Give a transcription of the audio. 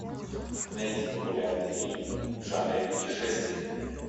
найди популярный фильм в жанре путешествий